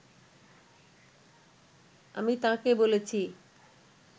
আমি তাঁকে বলেছি